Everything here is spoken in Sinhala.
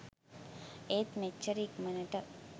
ඒත් මෙච්චර ඉක්මණට